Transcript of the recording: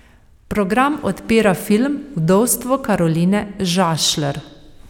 Program odpira film Vdovstvo Karoline Žašler.